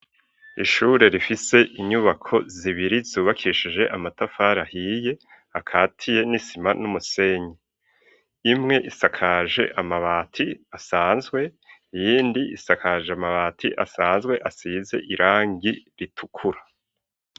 Ishure rifise inyubako zibiri, zubakishije amatafari ahiye ,akatiye n'isima n'umusenyi ,imwe isakaje amabati asanzwe, iyindi isakaje amabati asanzwe asize irangi ritukura.